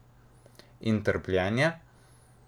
In trpljenje?